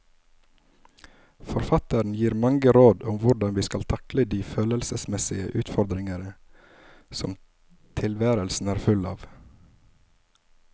Forfatteren gir mange råd om hvordan vi skal takle de følelsesmessige utfordringer som tilværelsen er full av.